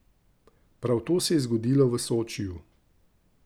Prav to se je zgodilo v Sočiju.